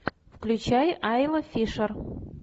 включай айла фишер